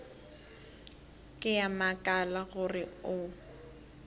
ke a makala gore o